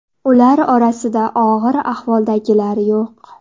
Ular orasida og‘ir ahvoldagilar yo‘q.